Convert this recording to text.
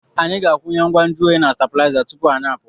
Anyị ga-akwụnye ngwa nju oyi na stabụlaiza tupu anyị pụọ.